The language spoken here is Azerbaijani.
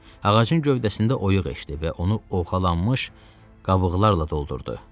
Ağacın gövdəsində oyuğ eşitdi və onu oxalanmış qabıqlarla doldurdu.